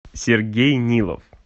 сергей нилов